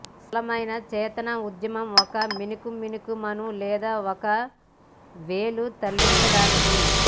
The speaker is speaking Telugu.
సరళమైన చేతన ఉద్యమం ఒక మినుకు మినుకు మను లేదా ఒక వేలు తరలించడానికి